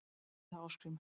æpti þá Ásgrímur